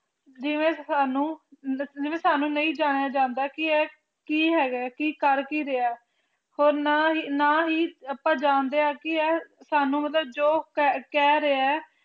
ਜਿਵੇਂ ਸਾਨੂੰ ਜਿਵੇਂ ਸਾਨੂੰ ਨਹੀਂ ਜਾਣਿਆਂ ਜਾਂਦਾ ਕਿ ਇਹ ਕੀ ਹੈਗਾ ਕੀ ਕੀ ਕਰ ਕੀ ਰਿਹਾ ਹੋਰ ਨਾ ਹੀ ਨਾ ਹੀ ਆਪਾ ਜਾਣਦੇ ਕਿ ਇਹ ਸਾਨੂੰ ਜੋ ਕਹਿ ਰਿਹੇ ਐ